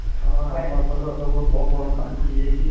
ହଁ, ଆମ ଏପଡ଼ରେ ସବୁ ପ୍ରବଳ ପାଣି ହେଇଯାଇଛି।